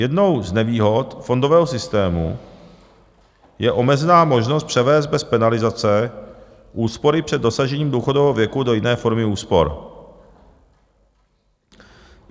Jednou z nevýhod fondového systému je omezená možnost převést bez penalizace úspory před dosažením důchodového věku do jiné formy úspor.